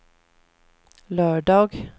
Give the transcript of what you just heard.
lördag